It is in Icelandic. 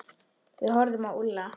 Við horfðum á Úlla.